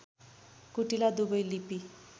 कुटिला दुबै लिपि